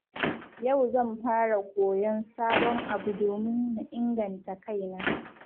Yau zan fara koyon sabon abu domin na inganta kaina.